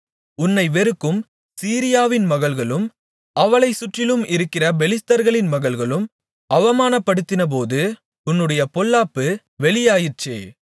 உன்னை வெறுக்கும் சீரியாவின் மகள்களும் அவளைச் சுற்றிலும் இருக்கிற பெலிஸ்தர்களின் மகள்களும் அவமானப்படுத்தினபோது உன்னுடைய பொல்லாப்பு வெளியாயிற்றே